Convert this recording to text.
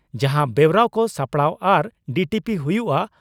ᱡᱟᱦᱟᱸ ᱵᱮᱣᱨᱟ ᱠᱚ ᱥᱟᱯᱲᱟᱣ ᱟᱨ ᱰᱤᱴᱤᱯᱤ ᱦᱩᱭᱩᱜᱼᱟ